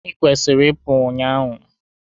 ikwesịrị ị pụu ụnyahụ!